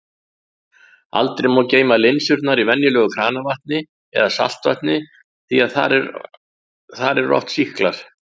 Aldrei má geyma linsurnar í venjulegu kranavatni eða saltvatni því þar eru oft sýklar.